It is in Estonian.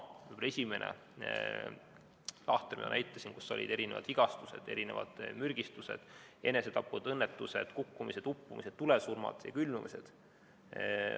Esimeses lahtris, mida ma näitasin, olid vigastused, mürgistused, enesetapud, õnnetused, kukkumised, uppumised, tulesurmad ja külmumised.